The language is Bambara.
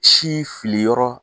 Si fili yɔrɔ